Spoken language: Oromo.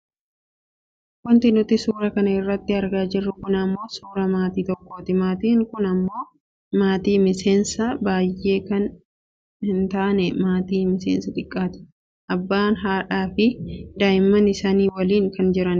Wanti nuti suuraa kana irratti argaa jirru kun ammoo suuraa maatii tokkooti. Maatiin kun ammoo maatii miseensa baayyee hin taane maatii miseensa xiqqaati. Abbaa haadhaafi daa'ima isaanii waliin kan jiranidha.